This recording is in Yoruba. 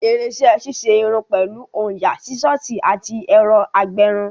Irinṣẹ́ ṣíṣe irun pẹ̀lú òyà, Sísọ̀sì àti ẹ̀rọ agbẹrun